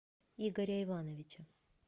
игоря ивановича